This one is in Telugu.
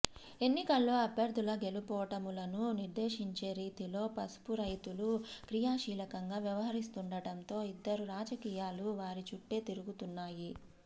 ఎన్నికల్లో అభ్యర్థుల గెలుపోటములను నిర్దేశించే రీతిలో పసుపు రైతులు క్రియాశీలకంగా వ్యవహరిస్తుండడంతో ఇందూరు రాజకీయాలు వారి చుట్టే తిరుగుతున్నాయి